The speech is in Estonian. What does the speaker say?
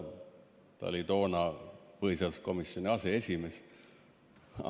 Ta oli toona põhiseaduskomisjoni aseesimees.